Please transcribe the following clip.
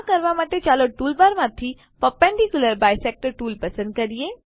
આ કરવા માટે ચાલો ટૂલબારમાંથી પર્પેન્ડિક્યુલર બાયસેક્ટર ટૂલ પસંદ કરીએ